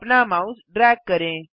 अपना mouse drag करें